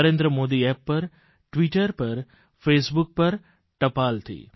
Narendra modiApp પર Twitter પર Facebook પર ટપાલથી